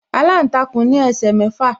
Aláǹtakùn ní ẹsẹ̀ mẹ́fà.